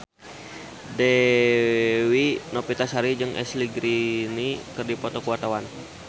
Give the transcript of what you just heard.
Dewi Novitasari jeung Ashley Greene keur dipoto ku wartawan